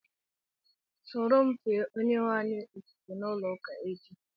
Sóró m fee Onyenweanyị ofufe n'ulo ụka echi